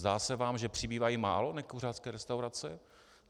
Zdá se vám, že přibývají málo nekuřácké restaurace?